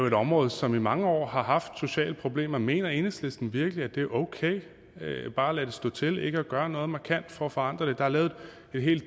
et område som i mange år har haft sociale problemer mener enhedslisten virkelig at det er okay bare at lade stå til og ikke gøre noget markant for at forandre det der er lavet en hel